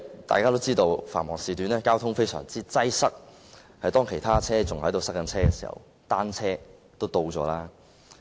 大家都知道，在繁忙時段，交通非常擠塞，當其他車輛仍困在路面時，單車早已到達目的地。